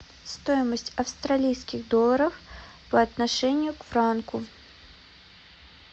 стоимость австралийских долларов по отношению к франку